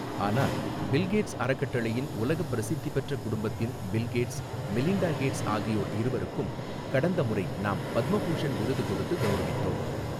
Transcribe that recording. ஆனால் Bill Gates அறக்கட்டளையின் உலகப் பிரசித்தி பெற்ற குடும்பத்தின் பில் கேட்ஸ், மிலிண்டா கேட்ஸ் ஆகியோர் இருவருக்கும் கடந்த முறை நாம் பத்மபூஷண் விருது கொடுத்து கௌரவித்தோம்.